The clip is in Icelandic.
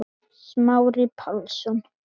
Smári Pálsson